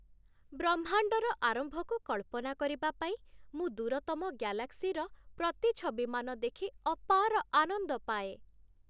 ବ୍ରହ୍ମାଣ୍ଡର ଆରମ୍ଭକୁ କଳ୍ପନା କରିବା ପାଇଁ ମୁଁ ଦୂରତମ ଗ୍ୟାଲାକ୍ସିର ପ୍ରତିଛବିମାନ ଦେଖି ଅପାର ଆନନ୍ଦ ପାଏ